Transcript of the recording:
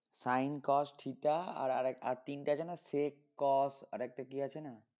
Sin cos theta আর আর তিনটা আছে না sec cot আরেকটা কি আছে না